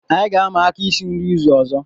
Anyị ga-ama aka isi nri izu ọzọ